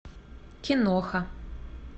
киноха